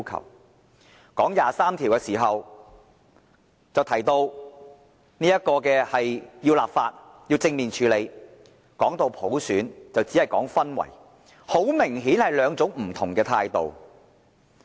談到第二十三條時就提到要立法，要正面處理；談到普選就只說營造氛圍，很明顯是兩種不同的態度。